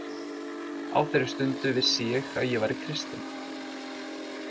Á þeirri stundu vissi ég að ég væri kristinn.